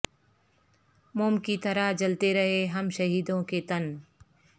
موم کی طرح جلتے رہے ہم شہیدوں کے تن